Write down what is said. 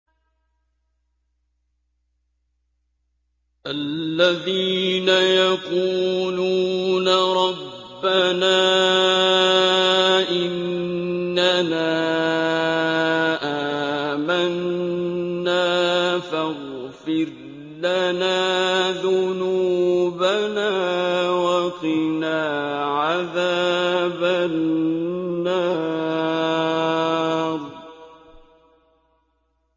الَّذِينَ يَقُولُونَ رَبَّنَا إِنَّنَا آمَنَّا فَاغْفِرْ لَنَا ذُنُوبَنَا وَقِنَا عَذَابَ النَّارِ